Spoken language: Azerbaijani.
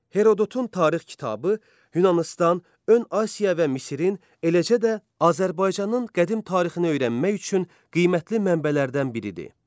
Herodotun tarix kitabı Yunanıstan, Ön Asiya və Misirin, eləcə də Azərbaycanın qədim tarixini öyrənmək üçün qiymətli mənbələrdən biridir.